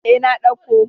E, na dauko.